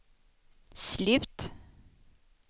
slut